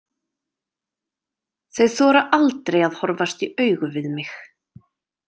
Þau þora aldrei að horfast í augu við mig.